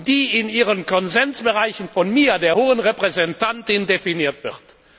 die in ihren Konsensbereichen von mir, der Hohen Repräsentantin, definiert wird.